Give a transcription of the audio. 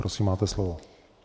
Prosím, máte slovo.